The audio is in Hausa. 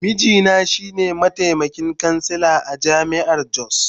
Mijina shi ne mataimakin kansila a jami’ar Jos.